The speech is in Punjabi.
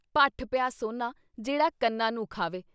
ਭੱਠ ਪਿਆ ਸੋਨਾ ਜਿਹੜਾ ਕੰਨਾ ਨੂੰ ਖਾਵੇ।